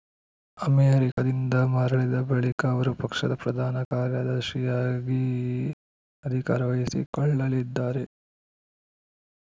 ಅಮೆರಿಕದಿಂದ ಮರಳಿದ ಬಳಿಕ ಅವರು ಪಕ್ಷದ ಪ್ರಧಾನ ಕಾರ್ಯದರ್ಶಿಯಾಗಿ ಅಧಿಕಾರ ವಹಿಸಿಕೊಳ್ಳಲಿದ್ದಾರೆ